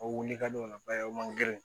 O wuli ka d'o la ba ye o man geren